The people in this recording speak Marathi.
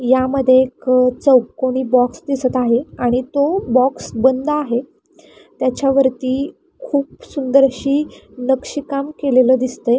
यामध्ये एक चौकोनी बॉक्स दिसत आहे आणि तो बॉक्स बंद आहे त्याच्यावरती खूप सुंदर अशी नक्षीकाम केलेलं दिसतंय.